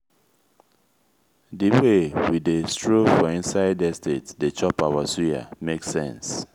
di wey we dey stroll for inside estate dey chop our suya make sense.